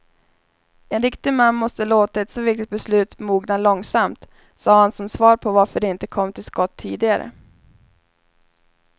En riktig man måste låta ett så viktigt beslut mogna långsamt, sade han som svar på varför de inte kommit till skott tidigare.